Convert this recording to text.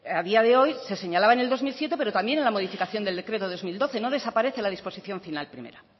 a día de hoy se señalaba en el dos mil siete pero también en la modificación del decreto dos mil doce no desaparece la disposición final primera